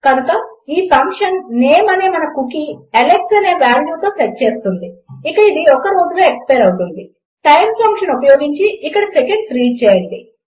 కనుక ఈ function name అనే మన కుకీ అలెక్స్ అనే వాల్యూతో సెట్ చేస్తుంది ఇక అది ఒక్క రోజులో ఎక్స్పైర్ అవుతుంది టైమ్ ఫంక్షన్ ఉపయోగించి ఇక్కడ సెకండ్స్లో రీడ్ చేయండి